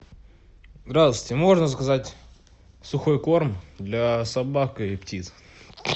здравствуйте можно заказать сухой корм для собак и птиц